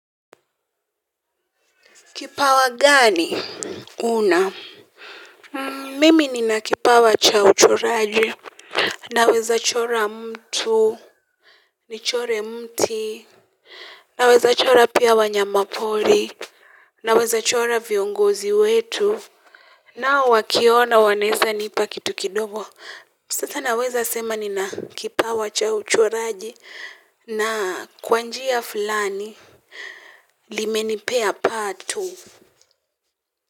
Kipawa gani, huna? Mimi nina kipawa cha uchoraji, naweza chora mtu, nichore mti, naweza chora pia wanyamapori, naweza chora viongozi wetu, na wakiona wanaeza nipa kitu kidogo. Sasa naweza sema nina kipawa cha uchoraji, na kwa njia fulani, limenipea pato.